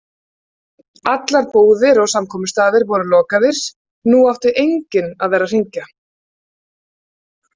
Allar búðir og samkomustaðir voru lokaðir, nú átti enginn að vera að hringja.